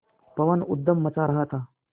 पवन ऊधम मचा रहा था